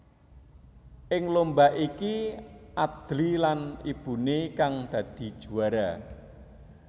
Ing lomba iki Adly lan ibuné kang dadi juwara